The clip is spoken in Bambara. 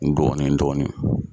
Dɔɔni dɔɔni.